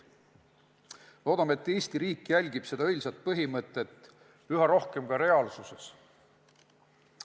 Loodame, et Eesti riik järgib seda õilsat põhimõtet üha rohkem ka reaalsuses.